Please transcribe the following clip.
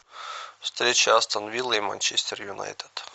встреча астон виллы и манчестер юнайтед